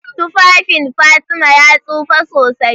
Tufafin Fatima ya tsufa sosai.